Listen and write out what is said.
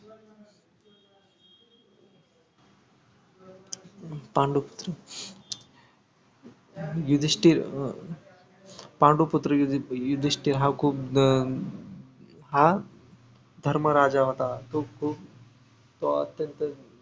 पांडुपुत्र युधिष्टिर अं पांडुपुत्र युधिष्टिर हा खूप अं हा धर्मराजा होता खूप अं अत्यंत